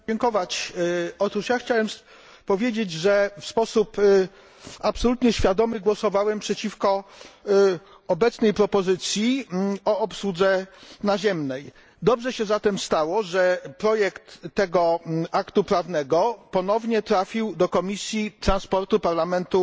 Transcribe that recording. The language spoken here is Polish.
Panie Przewodniczący! Chciałem powiedzieć, że w sposób absolutnie świadomy głosowałem przeciwko obecnej propozycji o obsłudze naziemnej. Dobrze się zatem stało, że projekt tego aktu prawnego ponownie trafił do Komisji Transportu Parlamentu